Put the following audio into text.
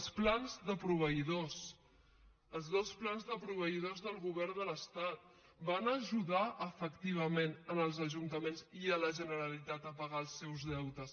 els plans de proveïdors els dos plans de proveïdors del govern de l’estat van a ajudar efectivament els ajuntaments i la generalitat a pagar els seus deutes